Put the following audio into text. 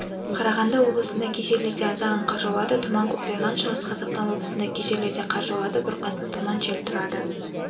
қарағанды облысында кей жерлерде аздаған қар жауады тұман көктайғақ шығыс қазақстан облысында кей жерлерде қар жауады бұрқасын тұман жел тұрады